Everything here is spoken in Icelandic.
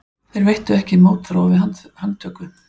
Þeir veittu ekki mótþróa við handtöku